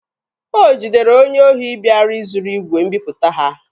O jidere onye ohi bịara izuru igwe mbiputa ha.